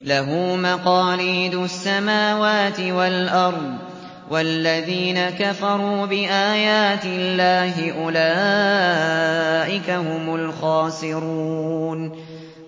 لَّهُ مَقَالِيدُ السَّمَاوَاتِ وَالْأَرْضِ ۗ وَالَّذِينَ كَفَرُوا بِآيَاتِ اللَّهِ أُولَٰئِكَ هُمُ الْخَاسِرُونَ